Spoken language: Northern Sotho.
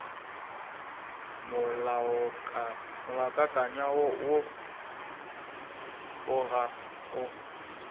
molaokakanywa woo o ga o